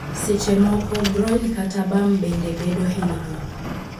Seche moko, groin kata bam bende bedo hinyruok.